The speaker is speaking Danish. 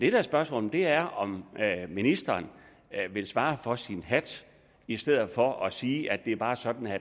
er spørgsmålet er om ministeren vil svare for sin hat i stedet for at sige at det bare er sådan at